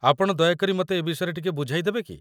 ଆପଣ ଦୟାକରି ମତେ ଏ ବିଷୟରେ ଟିକେ ବୁଝାଇ ଦେବେ କି ?